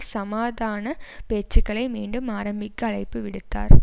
சமாதான பேச்சுக்களை மீண்டும் ஆரம்பிக்க அழைப்புவிடுத்தார்